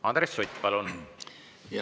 Andres Sutt, palun!